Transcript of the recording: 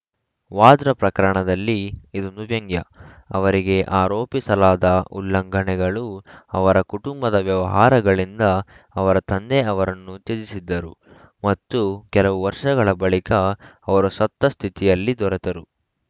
ವಾದ್ರಾ ಪ್ರಕರಣದಲ್ಲಿ ಇದೊಂದು ವ್ಯಂಗ್ಯ ಅವರಿಗೆ ಆರೋಪಿಸಲಾದ ಉಲ್ಲಂಘನೆಗಳು ಅವರ ಕುಟುಂಬದ ವ್ಯವಹಾರಗಳಿಂದ ಅವರ ತಂದೆ ಅವರನ್ನು ತ್ಯಜಿಸಿದ್ದರು ಮತ್ತು ಕೆಲವು ವರ್ಷಗಳ ಬಳಿಕ ಅವರು ಸತ್ತ ಸ್ಥಿತಿಯಲ್ಲಿ ದೊರೆತರು